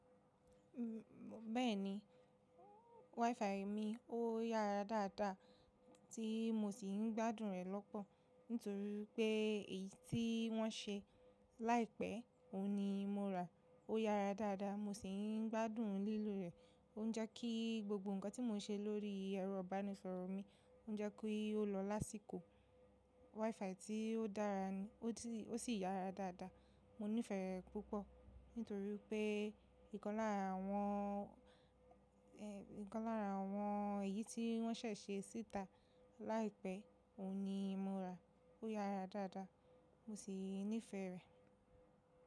Bẹ́ẹ̀ni WiFi mi ó yára dáadáa tí mo sì ń gbádùn rẹ̀ lọ́pọ̀ nítorí wipé èyí tí wọ́n ṣe láìpẹ́ òhun ni mo rà. Ó yára dáadáa mo sì ń gbádùn lílò rẹ̀. Ó ń jẹ́ kí gbogbo nǹkan tí mo n ṣe lórí ẹ̀rọ ìbánisọ̀rọ̀ mi ó ń jẹ́ ki o lọ lásìkò. WiFi tí ó dára ni, ot si, ó sì yára dáadáa mo nífẹ̀ẹ́ rẹ̀ púpọ̀ nítorí wipé ìkan lára àwọn, ìkan lára àwọn èyí tí wọ́n ṣẹ̀ ṣe síta láìpẹ́ òun ni mo rà. Ó yára dáadáa mo sì nífẹ̀ẹ́ rẹ̀.